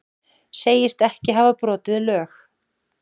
Segist ekki hafa brotið lög